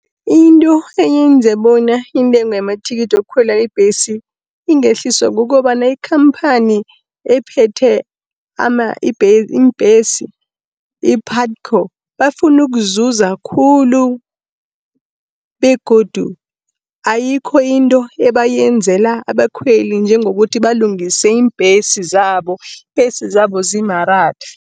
Into eyenza bona intengo yamathikithi wokukhwela ibhesi ingehliswa kukobana, ikhamphani ephethe iimbhesi i-PUTCO bafuna ukuzuza khulu, begodu ayikho into ebayenzela abakhweli njengokuthi balungise iimbhesi zabo, iimbhesi zabo zimaratha.